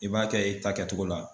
I b'a kɛ i ta kɛcogo la.